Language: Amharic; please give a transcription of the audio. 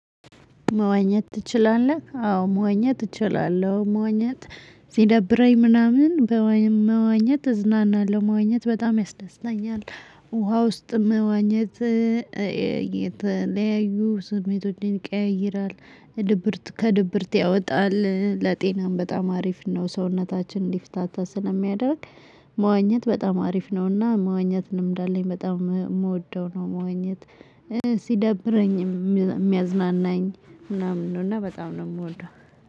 መዋኘት ትችላለህ? አዎ መዋኘት እችላለሁ መዋኘት ሲደብረኝ ምናምን መዋኘት እዝናናለሁ መዋኘት በጣም ያስደስተኛል። ውሃ ውስጥ መዋኘት። የተለያዩ ስሜትን ይቀያይራል ድብርት ከድብርት ያወጣል ለጤናም በጣም አሪፍ ነው ሰውነታችን እንዲፍታታ ስለሚያደርግ። መዋኘት በጣም አሪፍ ነውና መዋኘት ልምድ አለኝ በጣም የምወደው ነው መዋኘት። ሲደብረኝ የሚያዝናናኝ ምናምን ነው። እና በጣም ነው የምወደው።